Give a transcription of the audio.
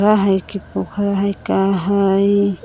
अहरा हइ कि पोखर है का हइ।